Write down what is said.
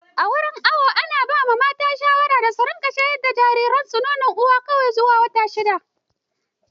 A wurin awo ana ba mata shawara da su shayar da jariransu nonon uwa kawai zuwa wata shidda.